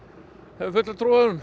hef fulla trú